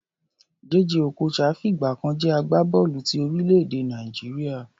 Jay Jay Okocha fìgbà kan jẹ́ agbábọ́ọ̀lù ti orílẹ̀-èdè Nàìjíríà.